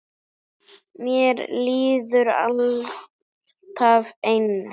Mér líður alltaf eins.